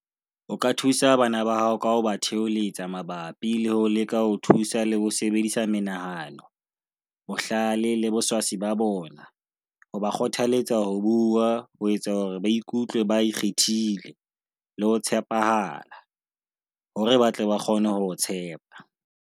O ka thusa bana ba hao ka ho ba theholetsa mabapi le ho leka ho thusa le ho sebedisa menahano, bohlale le boswasi ba bona, ho ba kgothaletsa ho bua, ho etsa hore ba ikutlwe ba ikgethile, le ho tshepahala, hore ba tle ba kgone ho o tshepa.